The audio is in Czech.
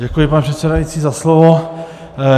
Děkuji, pane předsedající, za slovo.